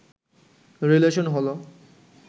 relation হলো